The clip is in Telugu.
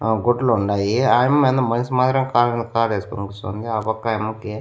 ఆ గుడ్లుండాయి ఆ యమ్మ ఏందో మనిషి మాదిరి కాలుమీద కాలేసుకొని కూసోంది. ఆ పక్క ఆయమ్మకి --